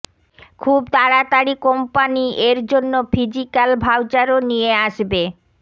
খুব তাড়াতাড়ি কোম্পানি এর জন্য ফিজিকাল ভাউচারও নিয়ে আসবে